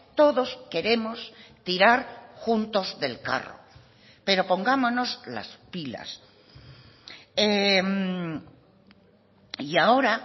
todos queremos tirar juntos del carro pero pongámonos las pilas y ahora